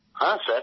হ্যাঁ স্যার